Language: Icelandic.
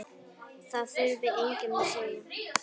Það þurfti enginn að segja